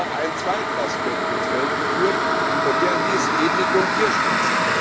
Wir haben aber auch einen zweiten Aspekt ins Feld geführt, und der hieß Ethik und Tierschutz.